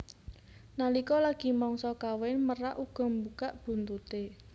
Nalika lagi mangsa kawin merak uga mbukak buntuté